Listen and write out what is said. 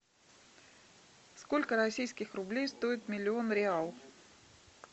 сколько российских рублей стоит миллион реал